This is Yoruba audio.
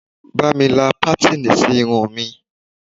Ba mi la patini sí irun mi